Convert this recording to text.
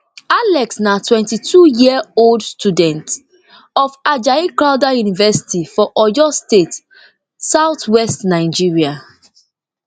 alex na twenty-two yearold student of ajayi crowther university for oyo state southwest nigeria